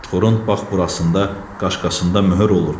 Rüşvətxorun bax burasında, qaşqasında möhür olur.